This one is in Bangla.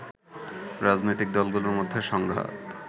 রাজনৈতিক দলগুলোর মধ্যে সংঘাত